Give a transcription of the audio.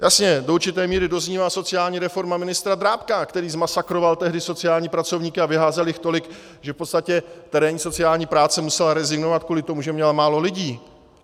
Jasně, do určité míry doznívá sociální reforma ministra Drábka, který zmasakroval tehdy sociální pracovníky a vyházel jich tolik, že v podstatě terénní sociální práce musela rezignovat kvůli tomu, že měla málo lidí.